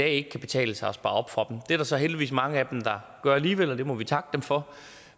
ikke kan betale sig at spare op for det er der så heldigvis mange af dem der gør alligevel og det må vi takke dem for